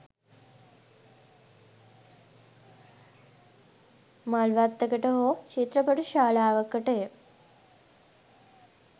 මල් වත්තකට හෝ චිත්‍රපට ශාලාවකටය